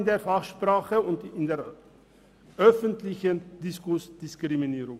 In der Fachsprache und im öffentlichen Diskurs nennt man dies Diskriminierung.